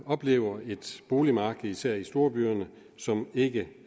oplever et boligmarked i især storbyerne som ikke